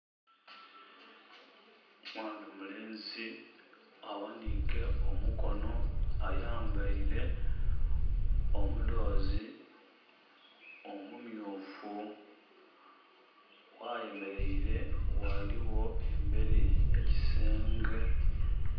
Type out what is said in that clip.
Mwaana mulenzi aghanike omukono ayambeire omudhozi omu myufu. Ghayemeleire ghaligho emberi ekisenge.